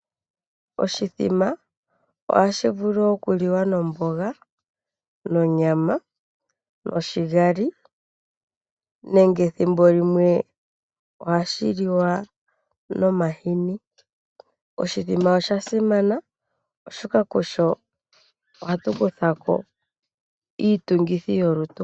Oshithima ohashi vulu okuliwa nomboga, nonyama noshigali. Nenge thimbolimwe ohashiliwa, nomahini. Oshithima osha simana oshoka kusho ohatu kuthako iitungithi yolutu.